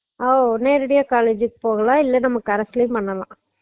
அஹ் நேரடியா college க்கு போலாம் இல்லைன்னா இல்ல நம்ம carse லையும் பண்ணலாம்